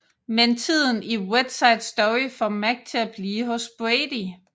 Men tiden i Wet Side Story får Mack til at blive hos Brady